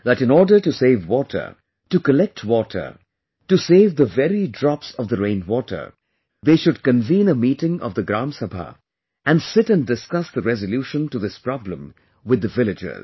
That in order to save water, to collect water, to save the very drops of the rainwater, they should convene a meeting of the Gram Sabha and sit and discuss the resolution to this problem with the villagers